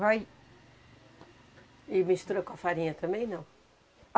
Vai... E mistura com a farinha também, não?